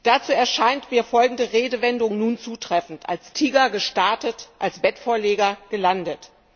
Dazu erscheint mir nun folgende Redewendung zutreffend als Tiger gestartet, als Bettvorleger gelandet!